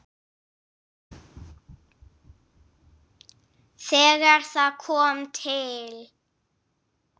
Þegar það kom til